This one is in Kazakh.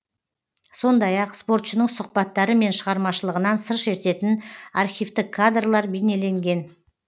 сондай ақ спортшының сұхбаттары мен шығармашылығынан сыр шертетін архивтік кадрлар бейнеленген